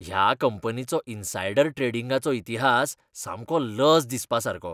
ह्या कंपनीचो इनसाईडर ट्रेडींगाचो इतिहास सामको लज दिसपासारको.